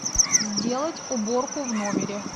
сделать уборку в номере